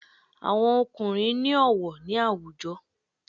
Àwọn ọkùnrín ni ọwọ ni awujo